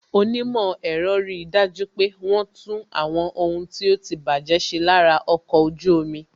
Onímò ẹ̀rọ ri dájú pé wọn tún àwọn ohun tí ó ti baje ṣe lára ọkọ̀ ojú omi